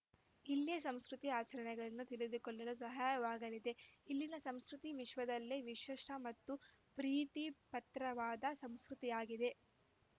ಇಲ್ಲಿಯ ಸಂಸ್ಕೃತಿ ಆಚರಣೆಗಳನ್ನು ತಿಳಿದುಕೊಳ್ಳಲು ಸಹಾಯವಾಗಲಿದೆ ಇಲ್ಲಿನ ಸಂಸ್ಕೃತಿ ವಿಶ್ವದಲ್ಲೇ ವಿಶಿಷ್ಟಮತ್ತು ಪ್ರೀತಿ ಪತ್ರವಾದ ಸಂಸ್ಕೃತಿಯಾಗಿದೆ